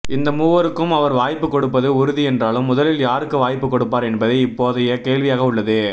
இந்த மூவருக்கும் அவர் வாய்ப்பு கொடுப்பது உறுதி என்றாலும் முதலில் யாருக்கு வாய்ப்பு கொடுப்பார் என்பதே இப்போதைய கேள்வியாக உள்ளது